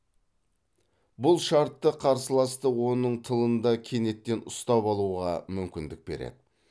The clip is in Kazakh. бұл шартты қарсыласты оның тылында кенеттен ұстап алуға мүмкіндік береді